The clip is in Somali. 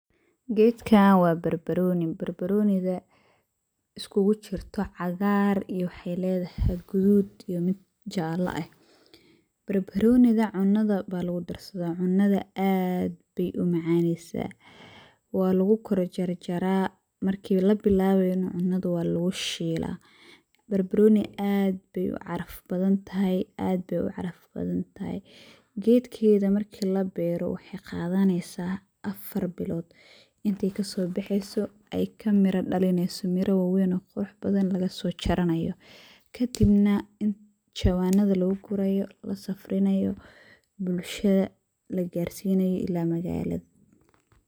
Gedkan wa barbaroni, barbaroniga iakulajirto cagaar iyo gadud iyo mid jalaa eh, barbaroniga cunada ba lgudarsada, cunada aad bay umaceysa, walagukorjarjara, marki labilawayo nah cunada walagushila, barbaroni aad bay ucaraf badan taxay, aad bay ucaraf badantaxay, geedkedah marki labero waxay qadaneysa afar bilod, intey kasobeheyso ay kamira dalineyso, miraa wawen oo qurux badan lagasojaranayo, kadibna inti jawanada lagugurayo, lasafrinayo, bulsha lagarsinayo ila maqalad.